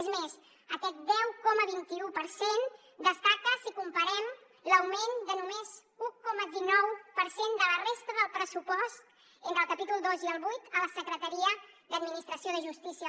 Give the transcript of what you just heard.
és més aquest deu coma vint un per cent destaca si comparem l’augment de només un coma dinou per cent de la resta del pressupost entre el capítol ii i el viii a la secretaria d’administració de justícia